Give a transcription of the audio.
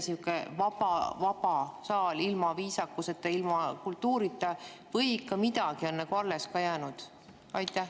Ongi sihuke vaba saal ilma viisakuseta, ilma kultuurita või ikka midagi on alles ka jäänud?